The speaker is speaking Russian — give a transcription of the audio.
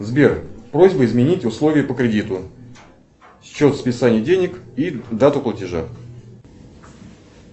сбер просьба изменить условия по кредиту счет списания денег и дату платежа